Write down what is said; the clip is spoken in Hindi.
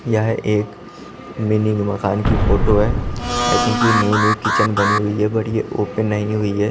यह एक मिनी मकान की फोटो हैं आई थिंक ये न्यू न्यू किचन बनी हुई हैं बट ये ओपन नही हुई हैं।